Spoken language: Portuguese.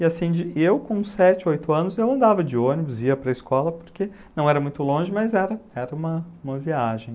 E assim, eu com sete, oito anos, eu andava de ônibus, ia para a escola, porque não era muito longe, mas era uma viagem.